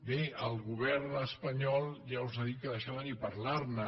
bé el govern espanyol ja us ha dit que d’això ni parlar ne